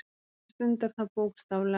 Hann stundar það bókstaflega.